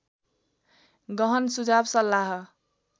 गहन सुझाव सल्लाह